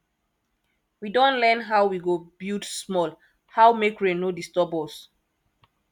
we don learn how we go build small how make rain no disturb us